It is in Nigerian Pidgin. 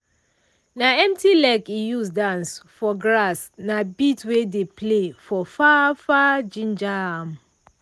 na empty leg e use dance for grass na beat wey dey play for far far ginger am.